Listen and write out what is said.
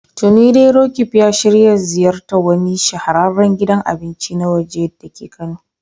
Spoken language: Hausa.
Tuni dai Roqeeb ya shirya ziyartar wani shahararren gidan abinci na waje dake Kano.